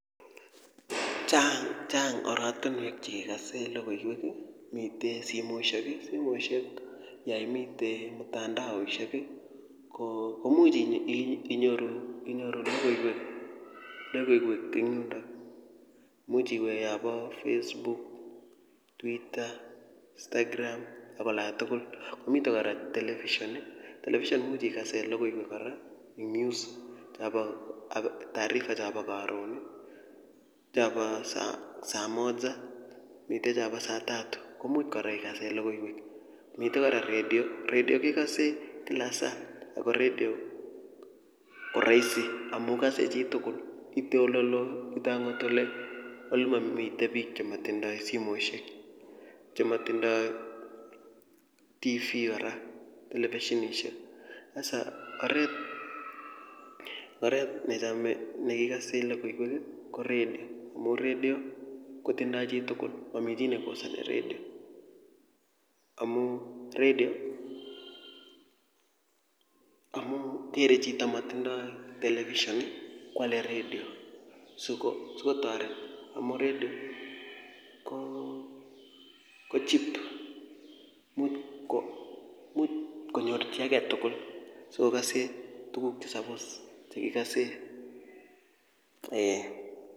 Chang chang oratinywek chekekosen lokoiwek ii, miten simoisiek, simoisiek yoimiten mtandaoisiek ii ,komuch inyoru lokoiwek eng yundon, imuch iwee olobo Facebook, twitter, instagram ak ola tugul, miten kora television, television imuch ikasen lokoiwek kora, news tarifa chabo karon, chabo saa moja miten chabo saa tatu komuch kora ikasen logoiwek, miten kora redio, redio kekose kila kila saa ako redio koroisi amun kose chitugul itei oleloo itei akot olemomii biik chetindoi simoisiek, chemo tindoi Tv kora televisionishek, hasa oret nechome nekikosen lokoiwek ii ko redio amun redio kotindoi chitugul momii chi nekosani redio, amun redio kere chito nemotindoi television ii kwale redio sikotoret amun redio koo cheap imuch konyor chii agetugul sikokose tuguk chesobos chekikosen eeh.